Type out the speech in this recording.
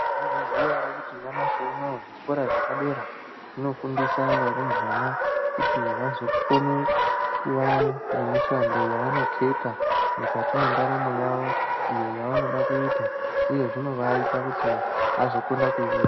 Maizviziya here nyamashi unouyu zvikoro zvepadera zvinofundisa varumbwana kuti vazokone kuva nemishando yavanoketa mukati yendaramo yavo iyo yavanoda kuita uye zvinoit kuti vazokone kuiita .